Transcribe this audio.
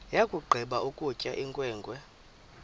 yakugqiba ukutya inkwenkwe